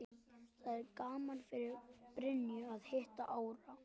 Það er gaman fyrir Birnu að hitta Árna.